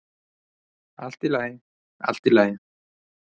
"""Allt í lagi, allt í lagi."""